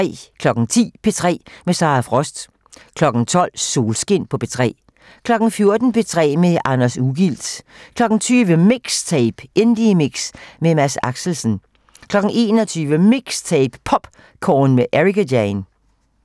10:00: P3 med Sara Frost 12:00: Solskin på P3 14:00: P3 med Anders Ugilt 20:00: MIXTAPE - Indiemix med Mads Axelsen 21:00: MIXTAPE - POPcorn med Ericka Jane